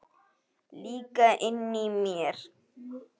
Líka inni í mér.